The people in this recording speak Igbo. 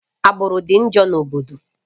Agbụrụ dị njọ na obodo